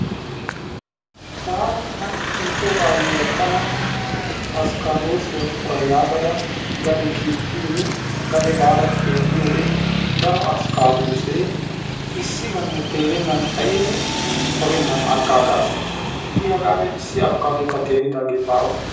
taani ha'i nu soo ayyiyaa askaadoosiyaa tana qoora yagaada qade kiittiin gade baada xeelliyoode daro askaadoosee issi banne teerennan ixxin qorennan aggaagaas. itiyeyee hagaa be'a issi apikaadoyikka teridaagee baawa